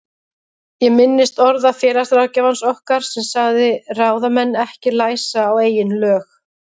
Ég minnist orða félagsráðgjafans okkar sem sagði ráðamenn ekki læsa á eigin lög.